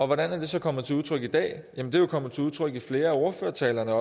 hvordan er det så kommet til udtryk i dag jamen det kommet til udtryk i flere af ordførertalerne